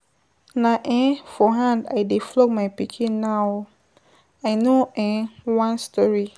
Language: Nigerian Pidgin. Na um for hand I dey flog my pikin now oo, I no um wan story.